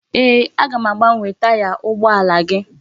Eeh, aga m agbanwe itaya ugboala gi.